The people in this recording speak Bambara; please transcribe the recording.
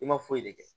I ma foyi de kɛ